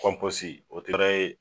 Kɔnposi o dira e